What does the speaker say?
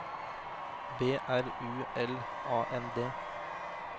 B R U L A N D